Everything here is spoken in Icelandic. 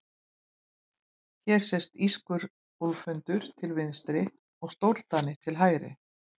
Hér sést írskur úlfhundur til vinstri og stórdani til hægri.